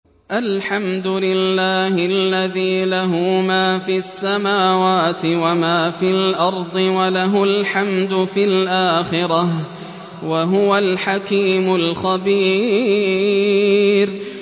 الْحَمْدُ لِلَّهِ الَّذِي لَهُ مَا فِي السَّمَاوَاتِ وَمَا فِي الْأَرْضِ وَلَهُ الْحَمْدُ فِي الْآخِرَةِ ۚ وَهُوَ الْحَكِيمُ الْخَبِيرُ